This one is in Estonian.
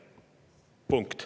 Punkt.